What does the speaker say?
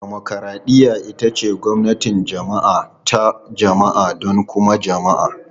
Dimokuraɗiyya ita ce gwamnatin jama'a ta jama'a don kuma jama'a.